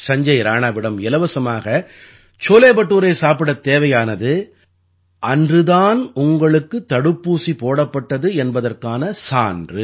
சஞ்ஜய் ராணாவிடம் இலவசமாக சோலே படூரே சாப்பிடத் தேவையானது அன்று தான் உங்களுக்குத் தடுப்பூசி போடப்பட்டது என்பதற்கான சான்று